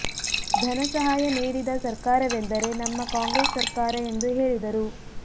ಧನ ಸಹಾಯ ನೀಡಿದ ಸರ್ಕಾರವೆಂದರೆ ನಮ್ಮ ಕಾಂಗ್ರೆಸ್ ಸರ್ಕಾರ ಎಂದು ಹೇಳಿದರು